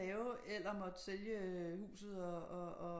At lave eller måtte sælge huset og